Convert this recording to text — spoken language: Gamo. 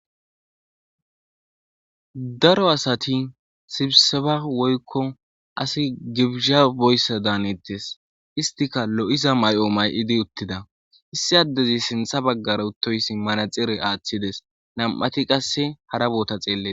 Daro asati sibiseba woykko asi gibizha boyssadaan hanettes istika lo'iza may'o may'idi uttida issi addezi sintha baggara uttoyssi manaxire aaththides nam'ati qasse hara boota xeeletes